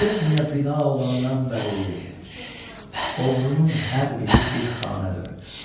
Quberniya bina olandan bəri oğrunun hər biri bir xanə dönüb.